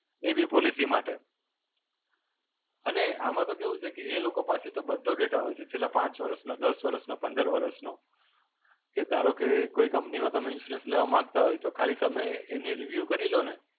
એ બી policy માટે. અને આમાં તો કેવું છે કે એ લોકો પાસે તો બધો data હોય છે. છેલ્લા પાંચ વર્ષનો, દસ વર્ષનો, પંદર વર્ષનો. કે ધારો કે કોઈ company માં તમે insurance લેવા માંગતા હોય તો ખાલી તમે એને review કરી લો ને,